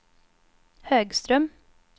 Högström